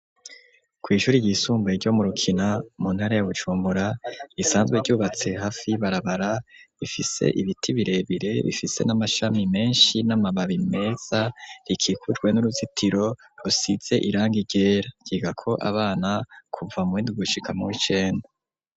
Ku ishure ryisumbuye ryo mu rukina mu ntara ya Bujumbura risanzwe ryubatse hafi y'ibarabara rifise ibiti birebire bifise n'amashami menshi n'amababi meza rikikujwe n'uruzitiro rusize irangi ryera ryiga ko abana kuva muwundi gushika muwikenda.